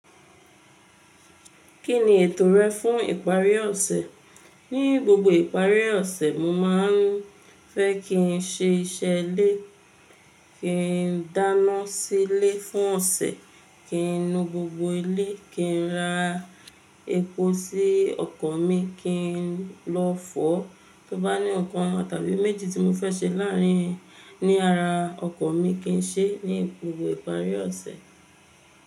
Kí ni ètò rẹ fún ìparí ọ̀sẹ̀? Ní gbogbo ìparí ọ̀sẹ̀, mo máa ń fẹ́ kí n ṣe iṣẹ́ ilé, kí n dáná sílé fún ọ̀sẹ̀, kí n nu gbogbo ilé, kí n ra epo sí ọkọ̀ mi, kí n lọ fọ́, tó bá ní ọ̀kan tàbí méjì tí mo fẹ́ ṣe láàrin, ní ara ọkọ̀ mi kí n ṣe ní gbogbo ìparí ọ̀sẹ̀.